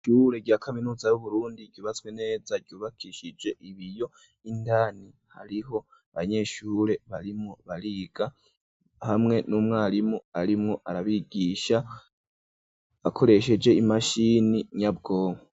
Ishurure rya kaminuza y'uburundi ryububatswe neza ryubakishije ibiyo indani hariho banyeshure barimu bariga hamwe n'umwarimu arimwo arabigisha akoresheje imashini nyabwonko.